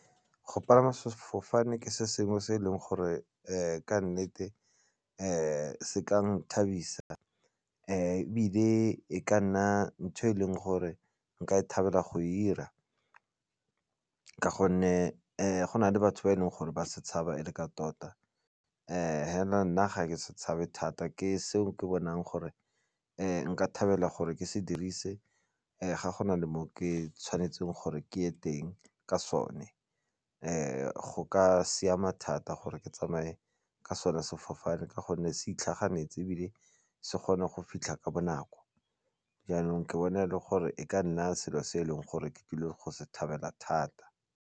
Go palama sefofane ke se sengwe se e leng gore ka nnete se ka nthabisa ebile e ka nna ntho e leng gore nka e thabela go e dira ka gonne go na le batho ba e leng gore ba se tshaba e le ka tota hela nna ga ke se tshabe thata ke seo ke bonang gore nka thabela gore ke se dirise ga go na le mo ke tshwanetseng gore ke ye ko teng ka sone. Go ka siama thata gore ke tsamaye ke sone sefofane ka gonne se itlhaganetse ebile se kgona go fitlha ka bonako jaanong ke bone le gore e ka nna selo se e leng gore ke tlile go se thabela thata.